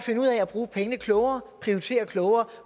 finde klogere prioritere klogere